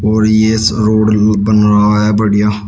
और ये रोड बना है बढ़िया।